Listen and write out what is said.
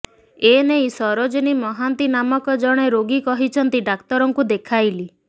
ଏନେଇ ସରୋଜିନୀ ମହାନ୍ତି ନାମକ ଜଣେ ରୋଗୀ କହିଛନ୍ତି ଡାକ୍ତରଙ୍କୁ ଦେଖାଇଲି